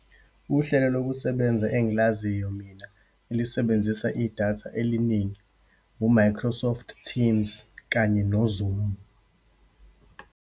Uhlelo lokusebenza engilaziyo mina elisebenzisa idatha eliningi, u-Microsoft Teams, kanye no-Zoom.